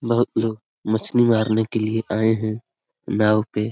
बहुत लोग मछली मारने के लिए आये हुए हैं नाव पे |